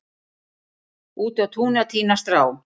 úti á túni að tína strá